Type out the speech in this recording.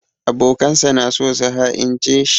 Abokansa na so su ha'ince shi.